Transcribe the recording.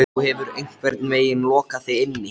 Þú hefur einhvern veginn lokað þig inni.